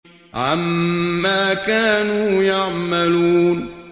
عَمَّا كَانُوا يَعْمَلُونَ